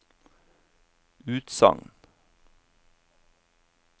utsagn